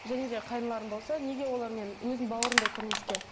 және де қайныларым болса неге олармен өзім бауырымдай көрмеске